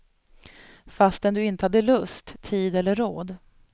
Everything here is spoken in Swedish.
Fastän du inte hade lust, tid eller råd.